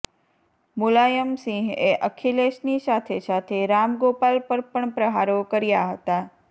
મુલાયમ સિંહએ અખિલેશની સાથે સાથે રામગોપાલ પર પણ પ્રહારો કર્યાં હતાં